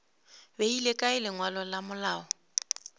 beile kae lengwalo la malao